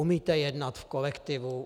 Umíte jednat v kolektivu?